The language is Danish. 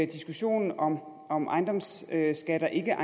diskussionen om om ejendomsskatter eller